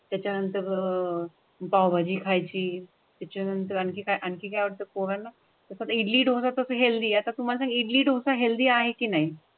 त्याच्यानंतर अह पाव भाजी खायची, त्याच्यानंतर आणखी काही आणखी काही वठता पोराना इडली, डोसा हेल्दी आता तु म्हाला सांग इडली, डोसा हेल्दी आहे की नाही?